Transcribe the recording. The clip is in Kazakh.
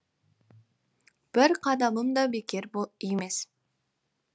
бір қадамым да бекер емес